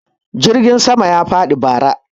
jirgin sama ya faɗi bara